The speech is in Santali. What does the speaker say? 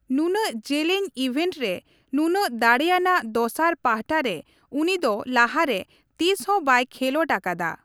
ᱱᱩᱱᱟᱹᱜ ᱡᱮᱞᱮᱧ ᱤᱵᱷᱮᱱᱴ ᱨᱮ ᱱᱩᱱᱟᱹᱜ ᱫᱟᱲᱮᱭᱟᱱᱟᱜ ᱫᱚᱥᱟᱨ ᱯᱟᱦᱴᱟ ᱨᱮ ᱩᱱᱤ ᱫᱚ ᱞᱟᱦᱟ ᱨᱮ ᱛᱤᱥᱦᱚᱸ ᱵᱟᱭ ᱠᱷᱮᱞᱚᱸᱰ ᱟᱠᱟᱫᱟ ᱾